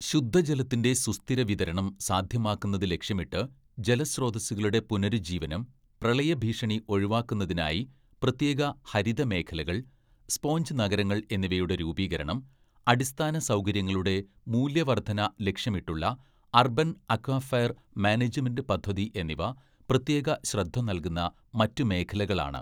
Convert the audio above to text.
ശുദ്ധജലത്തിന്റെ സുസ്ഥിര വിതരണം സാധ്യമാക്കുന്നത് ലക്ഷ്യമിട്ട് ജലസ്രോതസ്സുകളുടെ പുനരുജ്ജീവനം, പ്രളയഭീഷണി ഒഴിവാക്കുന്നതിനായി പ്രത്യേക ഹരിത മേഖലകൾ, സ്പോഞ്ച് നഗരങ്ങൾ എന്നിവയുടെ രൂപീകരണം, അടിസ്ഥാനസൗകര്യങ്ങളുടെ മൂല്യവർധന ലക്ഷ്യമിട്ടുള്ള, അർബൻ അക്വഫയർ മാനേജ്മെന്റ് പദ്ധതി എന്നിവ പ്രത്യേക ശ്രദ്ധ നൽകുന്ന മറ്റു മേഖലകളാണ്